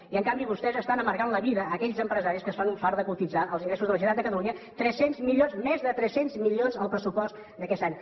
i en canvi vostès estan amargant la vida a aquells empresaris que es fan un fart de cotitzar els ingressos de la generalitat de catalunya més de tres cents milions al pressupost d’aquest any